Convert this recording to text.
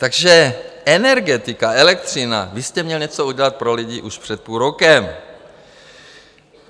Takže energetika, elektřina, vy jste měl něco udělat pro lidi už před půl rokem.